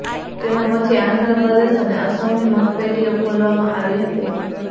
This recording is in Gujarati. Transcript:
તેના પછી આંધ્રપ્રદેશ અને અસમની મતપેટીઓ ખોલવામાં આવી હતી